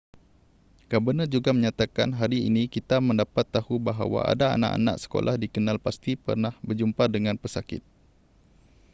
gabenor juga menyatakan hari ini kita mendapat tahu bahawa ada anak-anak sekolah dikenal pasti pernah berjumpa dengan pesakit